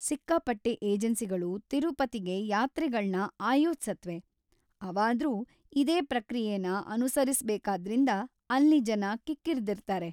ಸಿಕ್ಕಾಪಟ್ಟೆ ಏಜೆನ್ಸಿಗಳು ತಿರುಪತಿಗೆ ಯಾತ್ರೆಗಳ್ನ ಆಯೋಜ್ಸತ್ವೆ; ಅವಾದ್ರೂ ಇದೇ ಪ್ರಕ್ರಿಯೆನ ಅನುಸರಿಸ್ಬೇಕಾದ್ರಿಂದ ಅಲ್ಲಿ ಜನ ಕಿಕ್ಕಿರ್ದಿರ್ತಾರೆ.